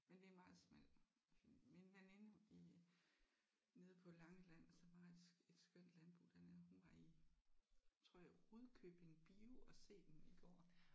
Men det er en meget smal film. Min veninde i nede på Langeland som har et et skønt landbrug dernede hun var i tror jeg Rudkøbing Bio og se den i går